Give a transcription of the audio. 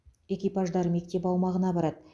экипаждар мектеп аумағына барады